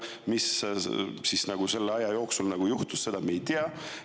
Mis selle aja jooksul juhtus, seda me ei tea.